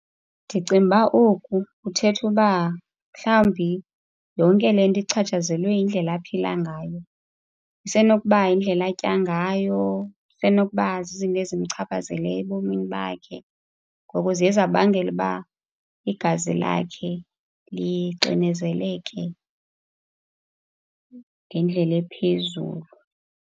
Ndicinga uba oku kuthetha uba mhlawumbi yonke le nto ichatshazelwe yindlela aphila ngayo. Isenokuba yindlela atya ngayo, isenokuba zizinto ezimchaphazeleyo ebomini bakhe. Ngoko ziye zabangela uba igazi lakhe lixinezeleke ngendlela ephezulu.